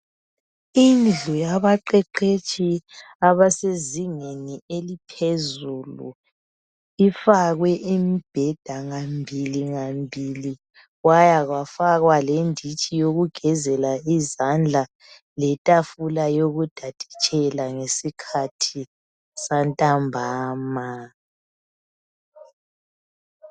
Indlu yabaqeqetshi abasezingeni eliphezulu, ifakwe imibheda ngambili, ngambili. Kwaya kwafaka lenditshi yokugezela izandla kwafaka itafula lokutaditshela ngesikhathi santambama.